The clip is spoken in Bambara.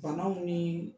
Banaw ni